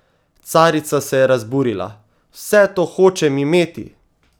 Carica se je razburila: "Vse to hočem imeti!